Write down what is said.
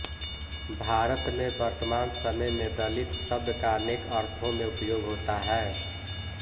भारत में वर्तमान समय में दलित शब्द का अनेक अर्थों में उपयोग होता है